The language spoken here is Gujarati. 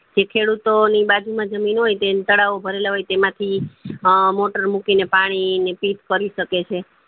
તે ખેડૂતો ઓ ની બાજુમાંજ જમીન હોય તે તળાવ ભરેલા હોય તો એમાં એ motor મૂકીનર પાણી પીઠ કરી શકે છે